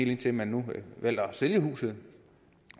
indtil man nu vælger at sælge huset